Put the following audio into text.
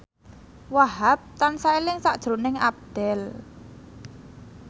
Wahhab tansah eling sakjroning Abdel